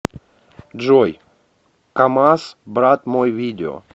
джой камаз брат мой видео